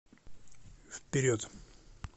вперед